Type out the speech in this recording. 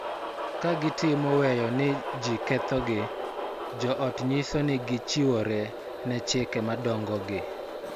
Ka gitimo weyo ne ji kethogi, jo ot nyiso ni gichiwore ne chike madongogi